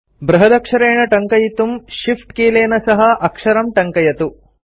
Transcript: बृहदक्षरेण टङ्कयितुम् shift कीलेन सह अक्षरं टङ्कयतु